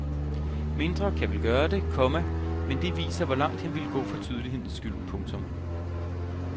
Mindre kan vel gøre det, komma men det viser hvor langt han ville gå for tydelighedens skyld. punktum